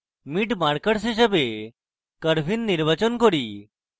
mid markers হিসাবে curvein নির্বাচন করব